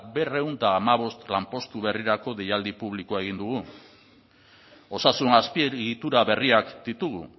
berrehun eta hamabost lanpostu berrirako deialdi publikoa egin dugu osasun azpiegitura berriak ditugu